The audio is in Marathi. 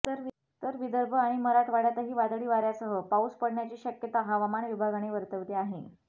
तर विदर्भ आणि मराठवाड्यातही वादळी वाऱ्यासह पाऊस पडण्याची शक्यता हवामान विभागाने वर्तवली आहे